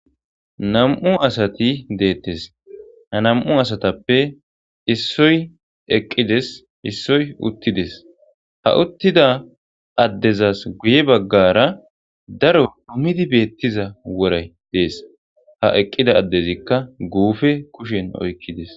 nam'u asati deettes ha nam'u asatappe issoy eqqides issoy uttides ha uttida addezas guye baggara daro dhummidi beettiza woray dees ha eqqida addezikka guufe kushen oykkides